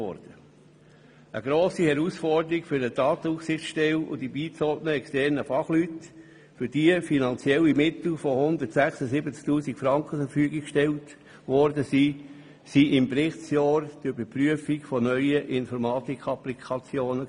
Eine grosse Herausforderung für die Datenaufsichtsstelle und die beigezogenen externen Fachleute, denen finanzielle Mittel in der Höhe von 176 000 Franken zur Verfügung standen, war im Berichtsjahr die Überprüfung von neuen Informatikapplikationen.